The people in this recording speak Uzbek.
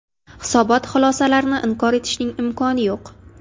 Hisobot xulosalarini inkor etishning imkoni yo‘q.